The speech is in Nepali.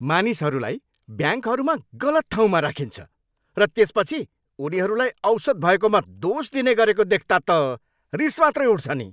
मानिसहरूलाई ब्याङ्कहरूमा गलत ठाउँमा राखिन्छ, र त्यसपछि उनीहरूलाई औसत भएकोमा दोष दिने गरेको देख्दा त रिस मात्रै उठ्छ नि।